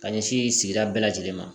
Ka ɲɛsin sigida bɛɛ lajɛlen ma